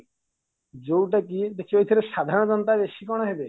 ଯୋଉଟା କି ଦେଖିବେ ଏଥିରେ ସାଧାରଣ ଜନତା ବେଶୀ କଣ ହେବେ